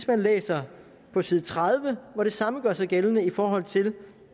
man læser på side tredive hvor det samme gør sig gældende i forhold til